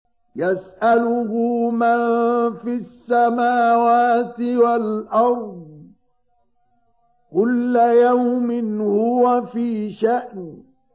يَسْأَلُهُ مَن فِي السَّمَاوَاتِ وَالْأَرْضِ ۚ كُلَّ يَوْمٍ هُوَ فِي شَأْنٍ